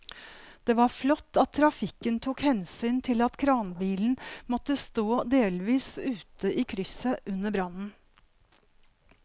Det var flott at trafikken tok hensyn til at kranbilen måtte stå delvis ute i krysset under brannen.